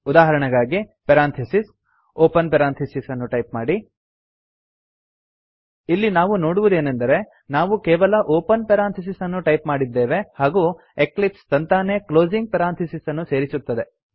ಉದಾಹರಣೆಗಾಗಿ parenthesis open parenthesis ಅನ್ನು type ಮಾಡಿ ಇಲ್ಲಿ ನಾವು ನೋಡುವುದೇನೆಂದರೆ ನಾವು ಕೇವಲ ಓಪನ್ ಪೆರಾಂಥಿಸಿಸ್ ಅನ್ನು ಟೈಪ್ ಮಾಡಿದ್ದೇವೆ ಹಾಗೂ ಎಕ್ಲಿಪ್ಸ್ ತಂತಾನೇ ಕ್ಲೋಸಿಂಗ್ ಪೆರಾಂಥಿಸಿಸ್ ಅನ್ನು ಸೇರಿಸುತ್ತದೆ